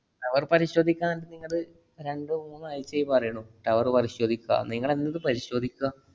tower പരിശോധിക്കാന്ന് നിങ്ങള് രണ്ടു മൂന്നു ആഴ്ചയായി പറയണു. tower പരിശോധിക്കാ, നിങ്ങളെന്നിതു പരിശോധിക്കാ?